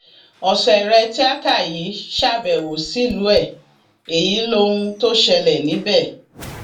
ọsẹrẹ tíata yìí ṣàbẹwò sílùú ẹ èyí lohun tó ṣẹlẹ níbẹ